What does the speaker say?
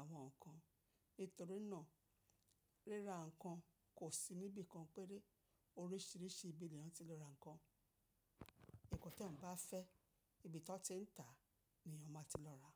àwọn ǹkan. Nítorí náà ríra ǹkan kò sí níbi kan péré. Oríṣìíríṣìí ibi ni èèyàn ti le ra ǹkan. Nǹkan tí ẹ bá fẹ́, ibi tó ti ń tà ni èèyàn má ti lọ rà.